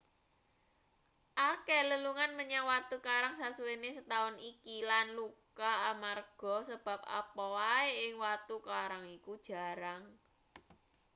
akeh lelungan menyang watu karang sasuwene setaun iki lan luka amarga sebab apa wae ing watu karang iku jarang